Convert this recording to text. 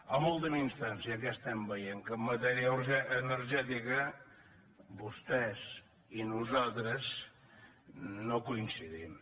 en última instància què estem veient que en matèria energètica vostès i nosaltres no coincidim